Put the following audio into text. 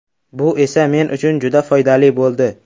Bu esa men uchun juda foydali bo‘ldi.